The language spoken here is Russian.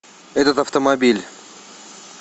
этот автомобиль